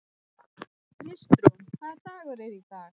Kristrún, hvaða dagur er í dag?